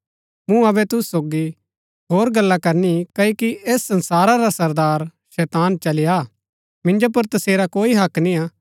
मूँ अबै तुसु सोगी होर गल्ला ना करनी क्ओकि ऐस संसारा रा सरदार शैतान चली आ हा मिन्जो पुर तसेरा कोई हक्क निय्आ